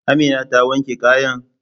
Amina ta wanke kayana?